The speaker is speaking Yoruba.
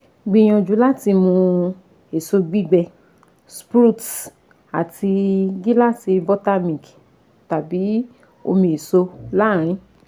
Gbìyànjú láti mú èso gbígbẹ, sprouts, àti gíláàsì buttermilk tàbí omi èso láàárín